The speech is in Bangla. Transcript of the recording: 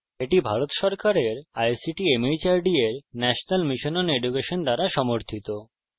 এটি ভারত সরকারের ict mhrd এর national mission on education দ্বারা সমর্থিত